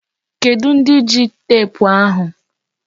Kedụ ndị ji teepu ahụ?